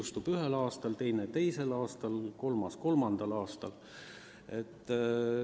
Üks punkt jõustub ühel aastal, teine teisel aastal, kolmas kolmandal aastal.